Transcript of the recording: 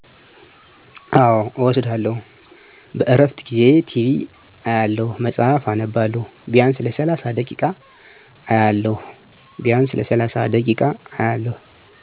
አዎ እወስዳለሁ -በእረፍት ጊዜየ ቲቢ አያለሁ፣ መፅሐፍ አነባለሁ። ቢያንስ ለሰላሣ ደቂቃ ኦአያለሁ።